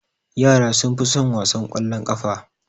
Yara sunfi sun wasan kwallon ƙafa.